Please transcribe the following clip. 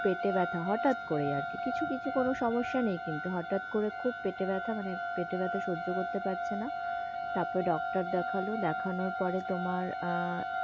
পেটে ব্যাথা হঠাৎ করে আর কি কিছু কিছু কোনো কিন্তু সমস্যা নেই কিন্তু হঠাৎ করে খুব পেটে ব্যাথা মানে পেটে ব্যাথা সজ্য করতে পারছে না তারপর doctor দেখালো, দেখানোর পরে তোমার, আঃ